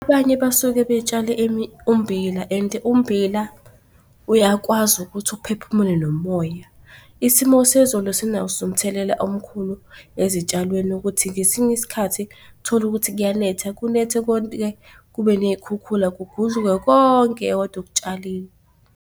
Abanye basuke betshale ummbila and ummbila uyakwazi ukuthi uphephumule nomoya. Isimo sezulu sinaso umthelela omkhulu ezitshalweni ukuthi ngesinye isikhathi uthole ukuthi kuyanetha kunethe kube ney'khukhula kugudluke konke okade ukutshalile.